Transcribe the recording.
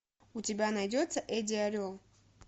у тебя найдется эдди орел